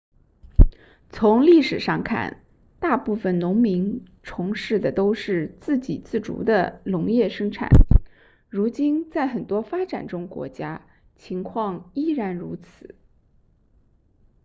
从历史上看大部分农民从事的都是自给自足的农业生产如今在很多发展中国家情况依然如此